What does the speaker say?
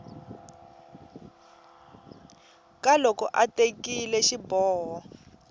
ka loko a tekile xiboho